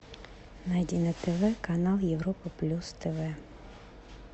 найди на тв канал европа плюс тв